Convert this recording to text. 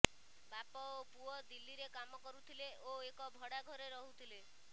ବାପ ଓ ପୁଅ ଦିଲ୍ଲୀରେ କାମ କରୁଥିଲେ ଓ ଏକ ଭଡ଼ାଘରେ ରହୁଥିଲେ